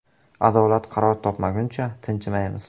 “Adolat qaror topmaguncha tinchimaymiz”.